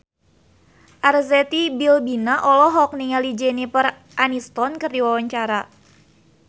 Arzetti Bilbina olohok ningali Jennifer Aniston keur diwawancara